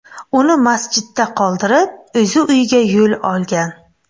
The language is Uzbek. Uni masjidda qoldirib, o‘zi uyga yo‘l olgan.